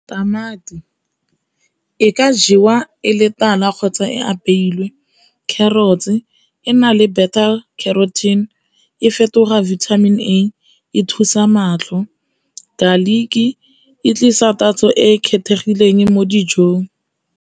Tamati e ka jewa e le tala kgotsa e apeilwe, carrot e ena le e fetoga vitamin A e thusa matlho, garlic e tlisa tatso e e kgethegileng mo dijong.